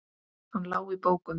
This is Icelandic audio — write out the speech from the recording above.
Hann lá í bókum.